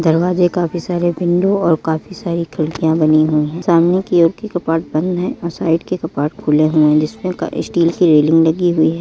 दरवाजे काफी सारे विंडो और काफी सारे खिड़किया बनी हुई है सामने की ओर की कपाट बंद है और साईड में कपाट खुले है जिसमे स्टील की रेलिंग लगी हुई है।